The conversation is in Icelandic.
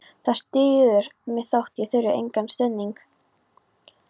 Það styður mig þótt ég þurfi engan stuðning.